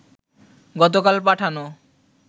গতকাল পাঠানো